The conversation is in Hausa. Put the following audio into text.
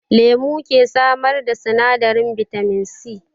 Lemu ke samar da sinadarin bitamin C